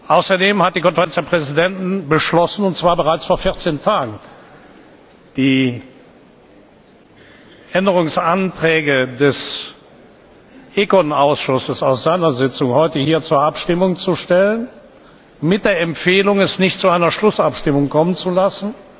Außerdem hat die Konferenz der Präsidenten beschlossen und zwar bereits vor vierzehn Tagen die Änderungsanträge des ECON Ausschusses aus seiner Sitzung heute hier zur Abstimmung zu stellen mit der Empfehlung, es nicht zu einer Schlussabstimmung kommen zu lassen.